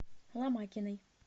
ломакиной